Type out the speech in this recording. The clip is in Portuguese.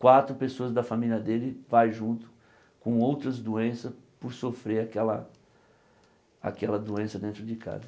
quatro pessoas da família dele vai junto com outras doenças por sofrer aquela aquela doença dentro de casa.